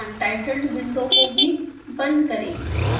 xcos untitled window भी बंद करें